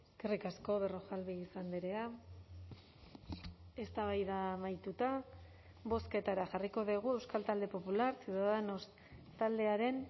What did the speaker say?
eskerrik asko berrojalbiz andrea eztabaida amaituta bozketara jarriko dugu euskal talde popular ciudadanos taldearen